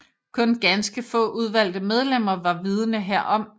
Kun ganske få udvalgte medlemmer var vidende herom